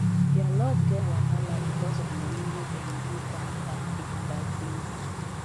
their love get wahala because of money wey dem use bank card take buy things